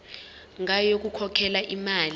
ngayo yokukhokhela imali